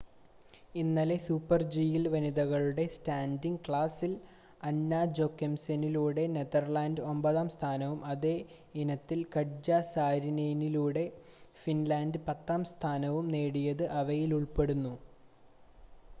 ഇന്നലെ സൂപ്പർ-ജിയിൽ വനിതകളുടെ സ്റ്റാൻഡിംഗ് ക്ലാസിൽ അന്ന ജോക്കെംസെനിലൂടെ നെതർലാൻഡ്‌സ് ഒമ്പതാം സ്ഥാനവും അതേ ഇനത്തിൽ കട്ജ സാരിനെനിലൂടെ ഫിൻലാൻഡ് പത്താം സ്ഥാനവും നേടിയത് അവയിൽ ഉൾപ്പെടുന്നു